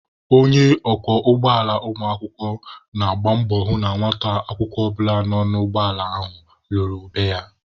Onye ọkwọ ụgbọala ụmụakwụkwọ na-agba mbọ hụ na nwata akwụkwọ ọbụla nọ n'ụgbọ ala ahụ laluru be ya.